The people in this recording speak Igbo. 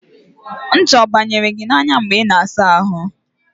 ncha ọ banyere gị n'anya mgbe ị na-asa ahụ?